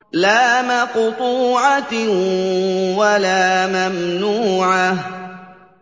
لَّا مَقْطُوعَةٍ وَلَا مَمْنُوعَةٍ